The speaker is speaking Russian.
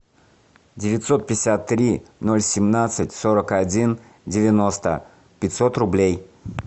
девятьсот пятьдесят три ноль семнадцать сорок один девяносто пятьсот рублей